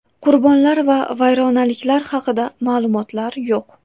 Qurbonlar va vayronaliklar haqida ma’lumotlar yo‘q.